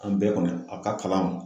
An bɛɛ kɔni a ka kalan